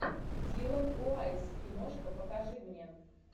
дилан уайсс киношка покажи мне